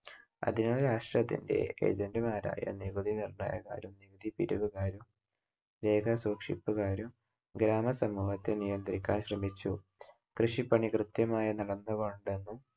അതിനാൽ രാഷ്ട്രത്തിന്‍റെ AGENT മാരായ നികുതികർത്തയന്മാരും നികുതി പിരിവുകാരും രേഖ സൂക്ഷിപ്പുകാരും ഗ്രാമ സമൂഹത്തെ നിയന്ത്രിക്കാൻ ശ്രമിച്ചു. കൃഷിപ്പണി കൃത്യമായി നടന്നുകൊണ്ടെന്നും